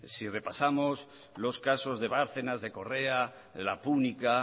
si repasamos los casos de bárcenas de correa la púnica